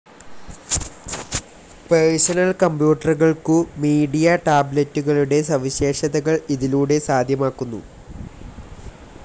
Personal കമ്പ്യൂട്ടറുകൾക്കു media ടാബ്‌ലെറ്റുകളുടെ സവിശേഷതകൾ ഇതിലൂടെ സാധ്യമാക്കുന്നു.